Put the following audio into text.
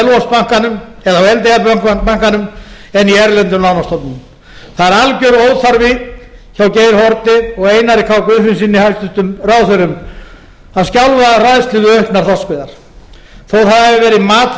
á selvogsbankanum en í erlendum lánastofnunum það er alger óþarfi hjá geir haarde og einar k guðfinnssyni hæstvirtum ráðherrum að skjálfa af hræðslu við auknar þorskveiðar þó hafi verið mat þeirra